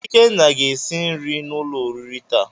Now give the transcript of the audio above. Ikenna ga esi nri n'ulo oriri taa.